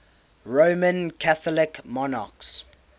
roman catholic monarchs